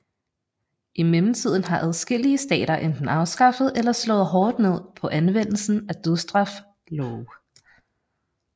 I mellemtiden har adskillige stater enten afskaffet eller slået hårdt ned på anvendelsen af dødsstraf love